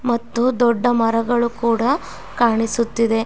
ಮತ್ತು ದೊಡ್ಡ ಮರಗಳು ಕೂಡ ಕಾಣಿಸುತ್ತಿದೆ.